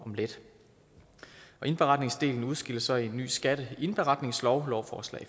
om lidt indberetningsdelen udskilles så i en ny skatteindberetningslov lovforslag